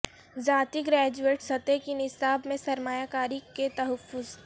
ذاتی گریجویٹ سطح کے نصاب میں سرمایہ کاری کے تحفظ